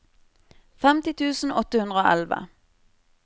femti tusen åtte hundre og elleve